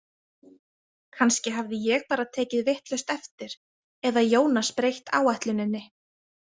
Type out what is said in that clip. Kannski hafði ég bara tekið vitlaust eftir eða Jónas breytt áætluninni.